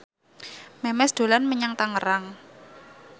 Memes dolan menyang Tangerang